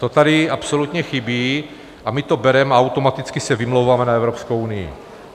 To tady absolutně chybí a my to bereme a automaticky se vymlouváme na Evropskou unii.